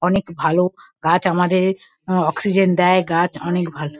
অনেক ভালো । গাছ আমাদের উম আ অক্সিজেন দেয়। গাছ অনেক ভালো ।